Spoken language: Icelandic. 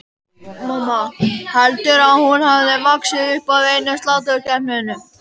Mamma, heldurðu að hún hafi vaxið upp af einum sláturkeppnum?